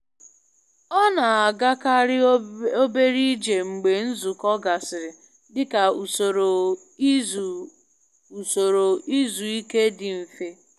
Ọ na-agakarị obere ije mgbe nzukọ gasịrị dị ka usoro izu usoro izu ike dị mfe.